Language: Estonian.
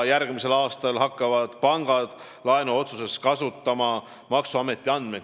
Peale selle hakkavad pangad järgmisel aastal laenuotsustes maksuameti andmeid kasutama.